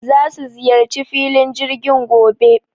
Za su ziyarci filin jirgin gobe